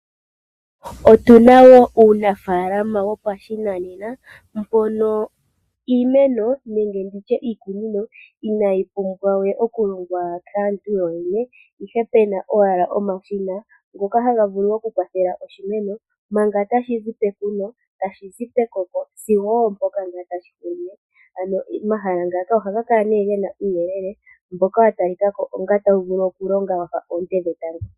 Otu na wo uunafaalama wopashinane mono iimeno nenge iikunino inaayi pumbwa we okulongwa kaantu yoyene, ihe pe na owala omashina ngoka haga vulu okukwathela shimeno manga tashi zi pekuno, tashi zi pekoko sigo oompoka owala tashi hulile. Ano omahala ngaka ohaga kala ge na uuyelele mboka wa tali ka ko onga tawu vulu okulonga wa fa oonte dhetango.